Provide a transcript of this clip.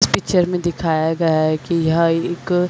इस पिक्चर में दिखाया गया है की यह एक--